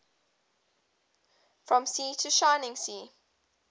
from sea to shining sea